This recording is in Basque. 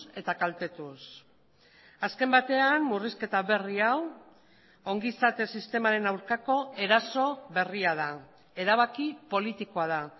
eta kaltetuz azken batean murrizketa berri hau ongizate sistemaren aurkako eraso berria da erabaki politikoa da